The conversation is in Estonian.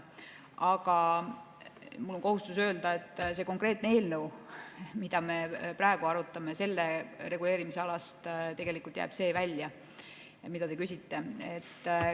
Aga mul on kohustus öelda, et selle konkreetse eelnõu reguleerimisalast, mida me praegu arutame, jääb tegelikult see välja, mille kohta te küsite.